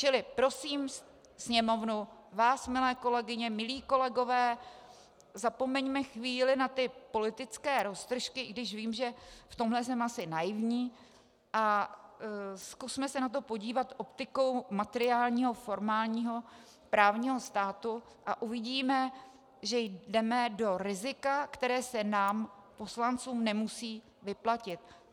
Čili prosím Sněmovnu, vás milé kolegyně, milí kolegové, zapomeňme chvíli na ty politické roztržky - i když vím, že v tomhle jsem asi naivní - a zkusme se na to podívat optikou materiálního formálního právního státu a uvidíme, že jdeme do rizika, které se nám poslancům nemusí vyplatit.